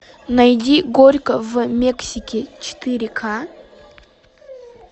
найди горько в мексике четыре ка